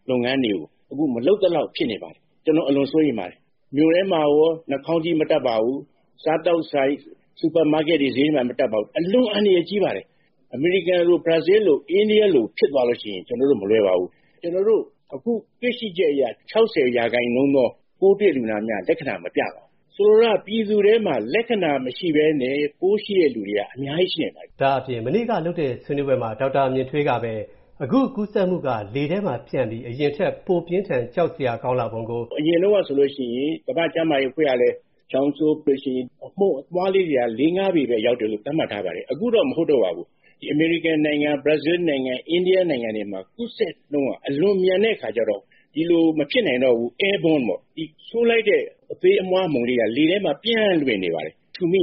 လုပ်ငန်းတွေကို အခု မလုပ်သလောက်ဖြစ်နေပါတယ်။ ကျွန်တော် အလွန်စိုးရိမ်ပါတယ်။ မြို့ထဲမှာရော နှာခေါင်းစည်း မတပ်ပါဘူး။ စားသောက်ဆိုင်တွေ၊ စူပါမားကက်တွေ၊ ဈေးတွေမှာလည်း မတပ်ပါဘူး။ အလွန် အန္တရာယ်ကြီးပါတယ်။ အမေရိကန်လို၊ ဘရာဇီးလို အိန္ဒိယလို ဖြစ်သွားရင် ကျွန်တော်တို့ မလွယ်ပါဘူူး။ ကျွန်တော်တို့ အခုတွေ့ရှိချက်အရ၊ ၆၀% သော ပိုးတွေ့လူနာများ လက္ခဏာမပြပါဘူး။ ဆိုလိုတာက ပြည်သူထဲမှာ လက္ခဏာမရှိဘဲနဲ့ ပိုးရှိနိုင်သူက အများကြီး ရှိနိုင်ပါတယ်။” “အရင်တုန်းကဆိုရင် ကမ္ဘာ့ကျန်းမာရေးအဖွဲ့ကလည်း ချောင်းဆိုးလို့ရှိရင် အမှုန်အမွှားလေးတွေက ပေပဲ ရောက်တယ်လို့ သတ်မှတ်ထားပါတယ်။ အခုတော့ မဟုတ်တော့ပါဘူး။ ဒီ အမေရိကန်နိုင်ငံ၊ ဘရာဇီးနိုင်ငံ၊ အိန္ဒိယနိုင်ငံတွေမှာ ကူးစက်နှုန်းက အလွန်မြန်တဲ့အခါကြတော့ ဒီလို မဖြစ်နိုင်တော့ပါဘူး။ အခု Airborne ပေါ့၊ ဒီ ချောင်းဆိုးလိုက်တဲ့ အသေးအမွှားအမှုန်လေးတွေက လေထဲမှာ ပျံ့လွင့်နေပါတယ်။ ရူမိ